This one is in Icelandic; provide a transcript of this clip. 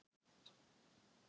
Kók og vatn